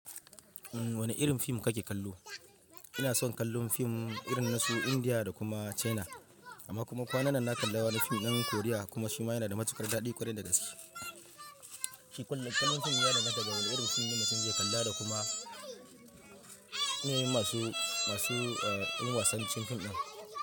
Wane irin fim kake kallo? Ina son kallon fim irin na su Indiya da kuma China. Amma kuma kwanan nan na kalla wani fim ɗan Korea kuma shi ma yana da matuƙar daɗi ƙwarai da gaske. Shi ƙwallon fim yana daga wani ɗan wasan fim da sun ce kallar da kuma yanayi masu, masu eh, yin wasan cikin fim ɗin.